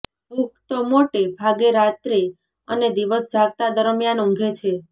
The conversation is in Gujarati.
પુખ્ત મોટે ભાગે રાત્રે અને દિવસ જાગતા દરમિયાન ઊંઘે છે